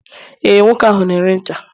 ee, nwoke ahu na-ere ncha